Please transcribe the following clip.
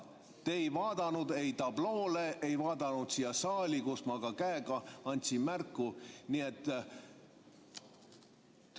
Te ei vaadanud ei tabloole ega vaadanud saali, kus ma käega märku andsin.